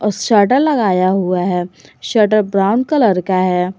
Shutter लगाया हुआ है शटर ब्राउन कलर का है।